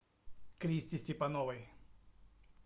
кристи степановой